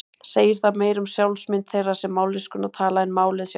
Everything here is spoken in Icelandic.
Segir það meira um sjálfsmynd þeirra sem mállýskuna tala en málið sjálft.